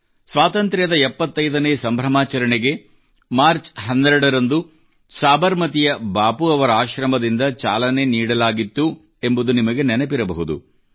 ಸ್ವಾತಂತ್ರ್ಯದ 75 ನೇ ಸಂಭ್ರಮಾಚರಣೆಗೆ ಮಾರ್ಚ್ 12 ರಂದು ಸಾಬರಮತಿಯ ಬಾಪು ಅವರ ಆಶ್ರಮದಿಂದ ಚಾಲನೆ ನೀಡಲಾಗಿತ್ತು ಎಂಬುದು ನಿಮಗೆ ನೆನಪಿರಬಹುದು